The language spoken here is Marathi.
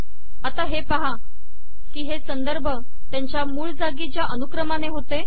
आता हे पाहा कि हे संदर्भ त्यांच्या मूळ जागेच्या अनुक्रमाने होते